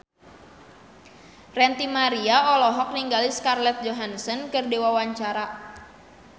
Ranty Maria olohok ningali Scarlett Johansson keur diwawancara